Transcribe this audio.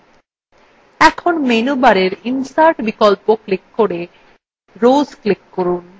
এখন menu bar insert বিকল্প click করে rows click করুন